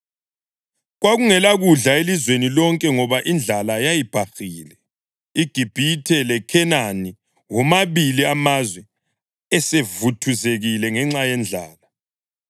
Kwakungelakudla elizweni lonke ngoba indlala yayibhahile; iGibhithe leKhenani womabili amazwe esevuthuzekile ngenxa yendlala.